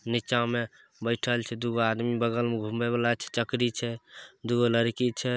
नीचा में बैठल छै दू गो आदमी बगल में घूमबे वाला चकरी छै दू गो लड़की छै।